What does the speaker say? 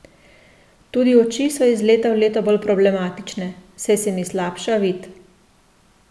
Tudi oči so iz leta v leto bolj problematične, saj se mi slabša vid.